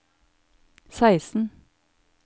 seksten